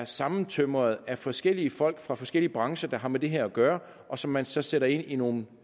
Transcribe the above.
sammentømret af forskellige folk fra forskellige brancher der havde med det her at gøre og som man så satte ind i nogle